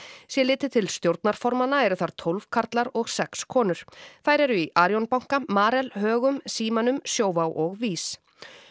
sé litið til stjórnarformanna eru þar tólf karlar og sex konur þær eru í Arion banka Marel Högum Símanum Sjóvá og VÍS